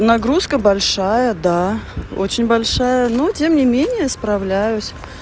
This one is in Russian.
нагрузка большая да очень большая но тем не менее справляюсь